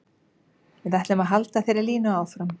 Við ætlum að halda þeirri línu áfram.